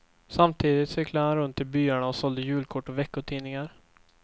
Samtidigt cyklade han runt i byarna och sålde julkort och veckotidningar.